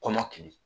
Kɔmɔkili